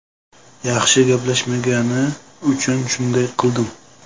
Yaxshi gaplashmagani uchun shunday qildim.